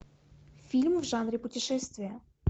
фильм в жанре путешествия